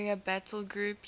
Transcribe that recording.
carrier battle groups